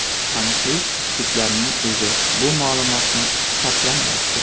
Taniqli juftlikning o‘zi bu ma’lumotni sharhlamayapti.